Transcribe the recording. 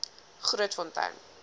grootfontein